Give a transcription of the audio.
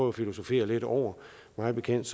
at filosofere lidt over mig bekendt